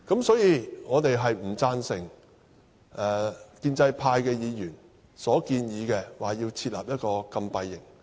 所以，我們不贊成建制派議員設立禁閉營的建議。